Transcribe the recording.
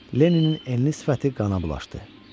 Lenninin enli sifəti qana bulaşdı.